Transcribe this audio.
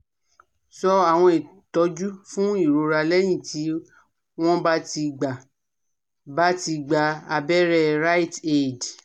so àwọn itoju fun ìrora lẹ́yìn tí wọ́n bá ti gba bá ti gba aberẹ́ RiteAid